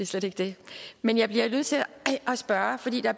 slet ikke det men jeg bliver nødt til at spørge fordi der